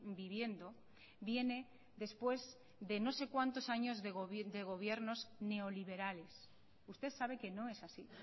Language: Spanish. viviendo viene después de no sé cuántos años de gobiernos neoliberales usted sabe que no es así